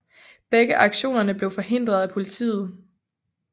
Begge aktioner blev forhindret af politiet